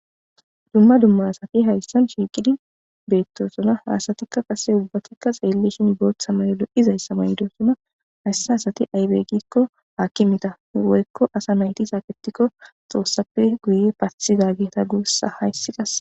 Dumma dumma asati hayssan shiiqidi beettosona hasatikka qase ubbatikka xeellishin boot samayolo izayssa mayndosona hayssi hasati aybeygikko haakkimita woykko asa nayti saaketikko xoossappe guye pathiza geeta guussa hayssi qase.